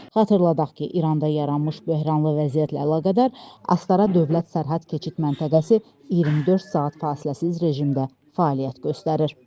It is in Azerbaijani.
Xatırladaq ki, İranda yaranmış böhranlı vəziyyətlə əlaqədar Astara dövlət sərhəd keçid məntəqəsi 24 saat fasiləsiz rejimdə fəaliyyət göstərir.